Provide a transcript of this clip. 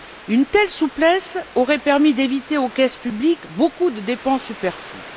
Une telle souplesse aurait permis d'éviter aux caisses publiques beaucoup de dépenses superflues.